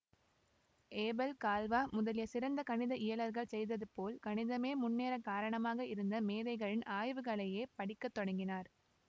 Abel Galois முதலிய சிறந்த கணித இயலர்கள் செய்ததுபோல் கணிதமே முன்னேறக் காரணமாக இருந்த மேதைகளின் ஆய்வுகளையே படிக்க தொடங்கினார்